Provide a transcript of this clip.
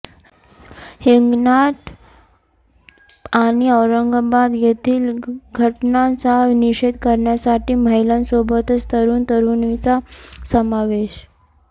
हिंगणघाट आणि औरंगाबाद येथील घटनांचा निषेध करण्यासाठी महिलांसोबतच तरुण तरुणींचा समावेश